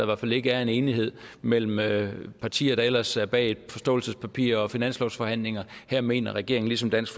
hvert fald ikke er en enighed mellem mellem partier der ellers er bag et forståelsespapir og finanslovsforhandlinger her mener regeringen ligesom dansk